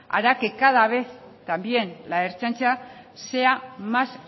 hará que cada vez también la ertzaintza sea más